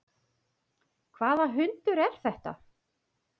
Hvaða hundur er þetta?